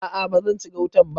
A'a ba zan ci gautan ba.